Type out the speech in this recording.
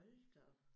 Hold da op